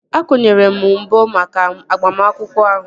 Akwụnyere m mbọ maka agbamakwụkwọ ahụ